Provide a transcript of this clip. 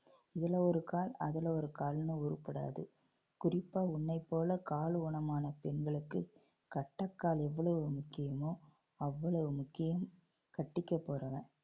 இதுல ஒரு கால் அதுல ஒரு கால்னு உருப்படாது. குறிப்பா உன்னைப்போல கால் ஊனமான பெண்களுக்கு கட்டைக்கால் எவ்வளவு முக்கியமோ அவ்வளவு முக்கியம் கட்டிக்கப் போறவன்.